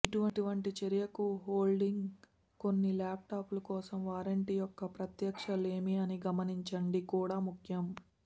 ఇటువంటి చర్యకు హోల్డింగ్ కొన్ని ల్యాప్టాప్లు కోసం వారంటీ యొక్క ప్రత్యక్ష లేమి అని గమనించండి కూడా ముఖ్యం